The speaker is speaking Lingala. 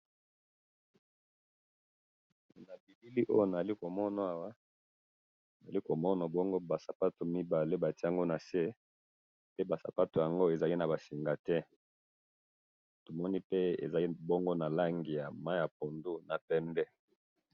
Na bilili Oyo naali komona Awa naali komona bongo ba sapato mibale batie ango na se, pe ba sapato ango ezali na ba singa te, tomoni pe ezali na langi ya mayi ya pondu na pembe.